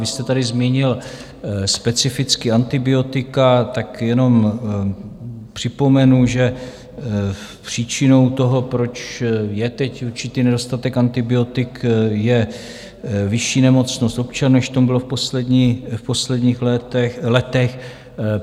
Vy jste tady zmínil specificky antibiotika, tak jenom připomenu, že příčinou toho, proč je teď určitý nedostatek antibiotik, je vyšší nemocnost občanů, než tomu bylo v posledních letech.